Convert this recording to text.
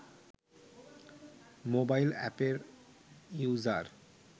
mobile অ্যাপের user